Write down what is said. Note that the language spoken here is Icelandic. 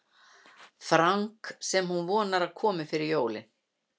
franka sem hún vonar að komi fyrir jólin.